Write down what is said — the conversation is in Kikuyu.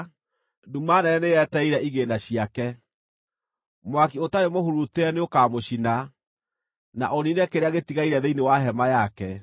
nduma nene nĩyetereire igĩĩna ciake. Mwaki ũtarĩ mũhurutĩre nĩũkamũcina, na ũniine kĩrĩa gĩtigaire thĩinĩ wa hema yake.